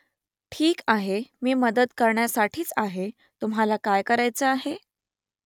ठीक आहे मी मदत करण्यासाठीच आहे तुम्हाला काय करायचं आहे ?